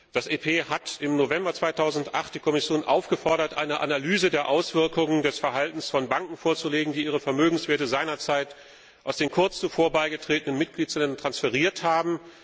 Das EP hat im November 2008 die Kommission aufgefordert, eine Analyse der Auswirkungen des Verhaltens von Banken vorzulegen, die ihre Vermögenswerte seinerzeit aus den kurz zuvor beigetretenen Mitgliedsstaaten transferiert haben.